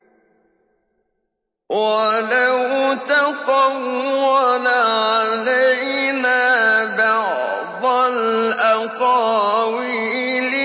وَلَوْ تَقَوَّلَ عَلَيْنَا بَعْضَ الْأَقَاوِيلِ